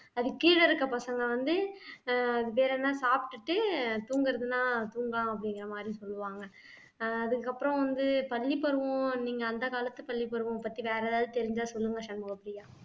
அதுக்கு கீழே இருக்க பசங்க வந்து ஆஹ் வேற என்ன சாப்பிட்டுட்டு தூங்குறதுன்னா தூங்கலாம் அப்படிங்கிற மாதிரி சொல்லுவாங்க ஆஹ் அதுக்கு அப்புறம் வந்து பள்ளிப்பருவம் நீங்க அந்த காலத்து பள்ளிப்பருவம் பத்தி வேற ஏதாவது தெரிஞ்சா சொல்லுங்க சண்முகப்பிரியா